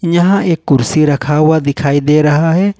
यहां एक कुर्सी रखा हुआ दिखाई दे रहा है।